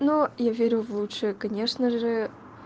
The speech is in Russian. но я верю в лучшее конечно же